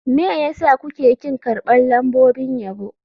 Me yasa kuke ƙin karɓar lambobin yabo.